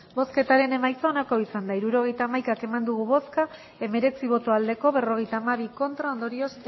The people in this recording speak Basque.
hirurogeita hamaika eman dugu bozka hemeretzi bai berrogeita hamabi ez ondorioz